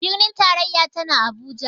Birnin tarayya tana Abuja.